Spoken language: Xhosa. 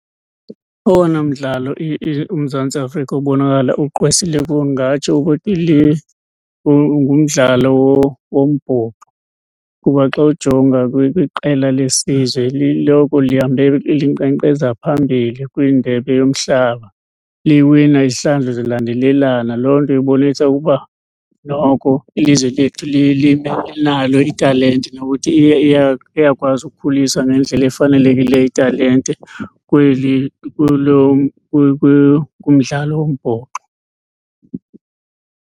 Owona mdlalo uMzantsi Afrika ubonakala ugqwesile kuwo ungatsho ukuthi ngumdlalo wombhoxo kuba xa ujonga kwiqela lesizwe liloko lihambe linqenqeza phambili kwindebe yomhlaba. Liwina izihlandlo zilandelelana, loo nto ibonisa ukuba noko ilizwe lethu linalo italente nokuthi iyakwazi ukukhuliswa ngendlela efanelekileyo italente kweli kulo kumdlalo wombhoxo.